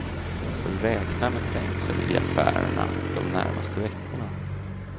Så räkna med trängsel i affärerna de närmaste veckorna.